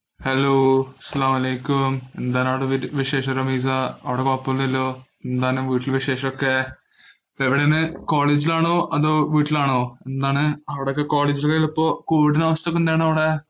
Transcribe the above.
അസലാമും അലൈക്കും. എന്താണ് അവിടെ വിശേഷം റമീസ? അവിടെ കൊഴപ്പമില്ലലോ. എന്താണ് വീട്ടിൽ വിശേഷം ഒക്കെ? ഇപ്പോൾ എവിടെ ആണ്? കോളേജിൽ ആണോ? അതോ വീട്ടിൽ ആണോ എന്താണ്? അവിടെയൊക്കെ കോളേജിലുള്ളപ്പോ covid ഇന്‍റെ അവസ്ഥ ഒക്കെ എന്താണവിടെ?